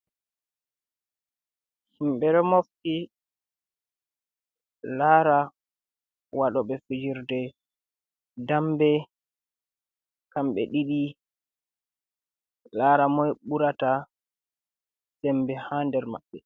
Himbe ɗo mofti lara waɗobe fijirde dambe, kamɓe ɗiɗi lara moi burata sembe ha nder maɓɓe.